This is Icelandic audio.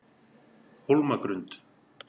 Hólmagrund